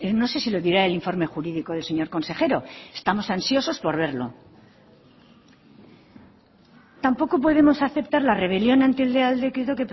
no sé si lo dirá el informe jurídico del señor consejero estamos ansiosos por verlo tampoco podemos aceptar la rebelión ante el real decreto